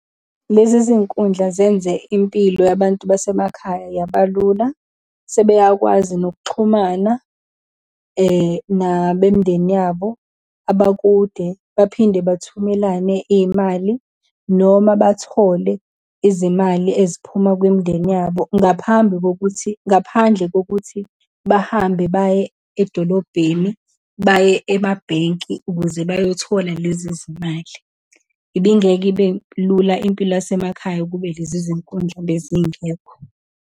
Lezi zinkundla zenze impilo yabantu basemakhaya yabalula, sebeyakwazi nokuxhumana nabemindeni yabo abakude, baphinde bathumelane iy'mali, noma bathole izimali eziphuma kwimindeni yabo ngaphambi kokuthi, ngaphandle kokuthi bahambe baye edolobheni, baye emabhenki ukuze bayothola lezi zimali. Ibingeke ibelula impilo yasemakhaya ukube lezi zinkundla bezingekho.